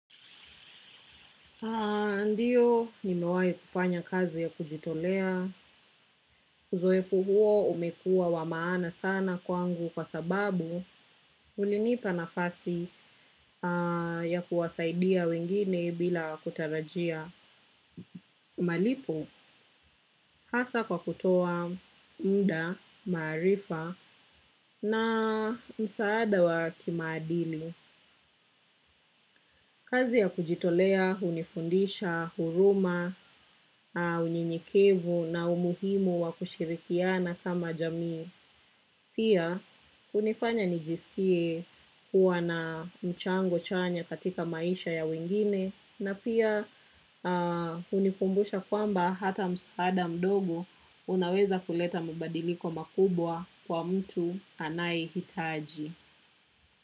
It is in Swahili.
Ndiyo nimewai kufanya kazi ya kujitolea. Zoefu huo umekua wa maana sana kwangu kwa sababu ulinipa nafasi ya kuwasaidia wengine bila kutarajia. Malipo hasa kwa kutoa muda, maarifa na msaada wa kimaadili. Kazi ya kujitolea, hunifundisha, huruma, unyenyekevu na umuhimu wa kushirikiana kama jamii. Pia, unifanya nijisikie kuwa na mchango chanya katika maisha ya wengine. Na pia hunikumbusha kwamba hata msaada mdogo unaweza kuleta mubadiliko makubwa kwa mtu anae hitaji.